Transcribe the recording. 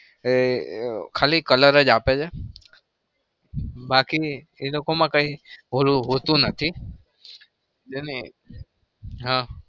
એ ખાલી colour જ આપે છે બાકી એ લોકોમાં કઈ હોતું નહિ.